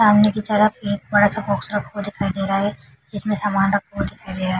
सामने की तरफ एक बड़ा सा बॉक्स टॉप पे दिखाई दे रहा है। इसमे सामन रखे हुए दिखाई दे रहा है।